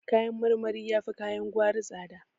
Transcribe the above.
Kayan marmari yafi kayan gwari tsada